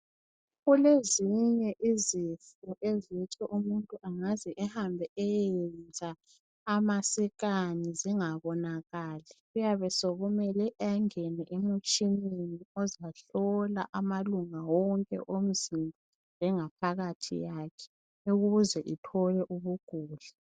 Kulezinye izifo ezithi umuntu angaze ehambe ayeyenza amascani zingabonakali kuyabe sokumele angene emitshineni ozahlola amalunga onke omzimba lengaphakathi yakhe ukuze ithole ukugula